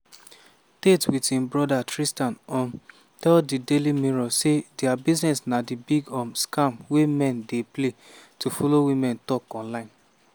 tate wit im broda tristan um tell di daily mirror say dia business na big um scam wey men dey pay to follow women tok online.